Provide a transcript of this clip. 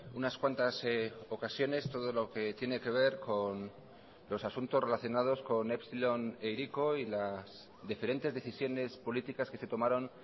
unas cuantas ocasiones todo lo que tiene que ver con los asuntos relacionados con epsilon e hiriko y las diferentes decisiones políticas que se tomaron